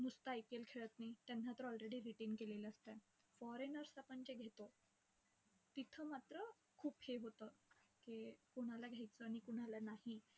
नुसतं IPL खेळात नाही. त्यांना तर already retain केलेलं असतंय. Foreigners आपण जे घेतो, तिथं मात्र खूप हे होता की, कोणाला घ्यायचं आणि कोणाला नाही.